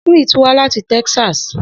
Smith wa lati Texas